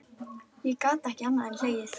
Ég gat ekki annað en hlegið.